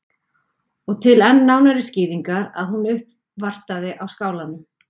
Og til enn nánari skýringar að hún uppvartaði á Skálanum.